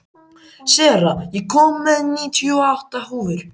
Sera, ég kom með níutíu og átta húfur!